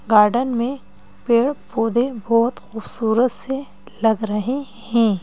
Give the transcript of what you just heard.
Garden में पेड़ पौधे बहोत खूबसूरत से लग रहे हैं।